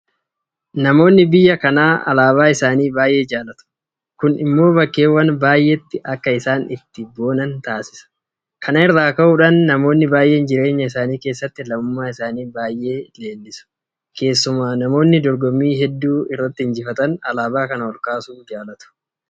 Namoonni biyya kanaa alaabaa isaanii baay'ee jaalatu. Kun immoo bakkeewwan baay'eetti akka isaan ittiin boonan taasisa. Kana irraa ka'uudhaan namoonni baay'een jireenya isaanii keessatti lammummaa isaanii baay'ee leellisu. Keessumaa namoonni dorgommii hedduu irratti injifatan alaabaa kana olkaasuu jaalatu.